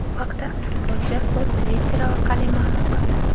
Bu haqda futbolchi o‘z Twitter’i orqali ma’lum qildi .